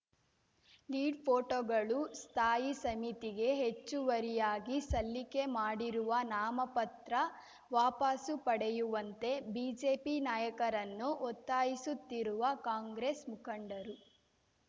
lead ಫೋಟೋಗಳು ಸ್ಥಾಯಿ ಸಮಿತಿಗೆ ಹೆಚ್ಚುವರಿಯಾಗಿ ಸಲ್ಲಿಕೆ ಮಾಡಿರುವ ನಾಮಪತ್ರ ವಾಪಾಸು ಪಡೆಯುವಂತೆ ಬಿಜೆಪಿ ನಾಯಕರನ್ನು ಒತ್ತಾಯಿಸುತ್ತಿರುವ ಕಾಂಗ್ರೆಸ್‌ ಮುಖಂಡರು